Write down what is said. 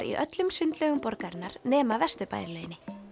í öllum sundlaugum borgarinnar nema Vesturbæjarlauginni